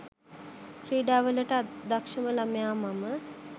ක්‍රීඩා වලට අදක‍්ෂම ළමයා මම.